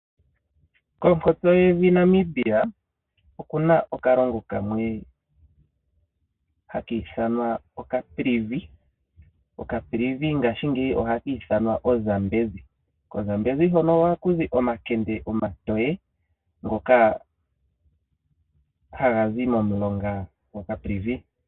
Konkotse yevi Namibia okuna okalongo kamwe haka ithanwa oKaprivi. Okaprivi ngashingeyi ohaka ithanwa oZambezi. KoZambezi hono ohaku zi omakende omatowe ngono haga zi momulonga gwa Zambezi.